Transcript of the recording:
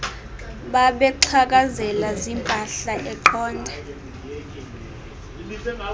babexhakazela ziimpahla eqonda